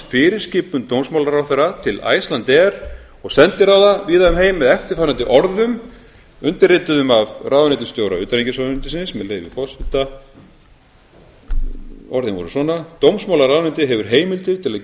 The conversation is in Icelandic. fyrirskipun dómsmálaráðherra til icelandair og sendiráða víða um heim með eftirfarandi orðum undirrituðum af ráðuneytisstjóra utanríkisráðuneytisins með leyfi forseta dómsmálaráðuneytið hefur heimildir til að